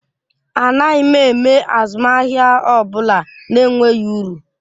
Anaghị m eme azụmahịa ọ bụla na-enweghị uru